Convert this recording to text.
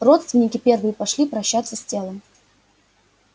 родственники первые пошли прощаться с телом